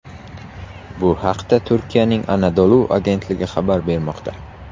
Bu haqda Turkiyaning Anadolu agentligi xabar bermoqda .